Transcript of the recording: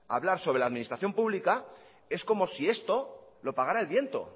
hablar sobre la administración pública es como si esto lo pagara el viento